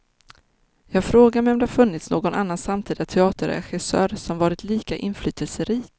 Jag frågar mig om det funnits någon annan samtida teaterregissör som varit lika inflytelserik.